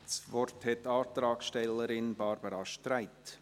Das Wort hat die Antragstellerin Barbara Streit.